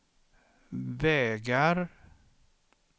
vägar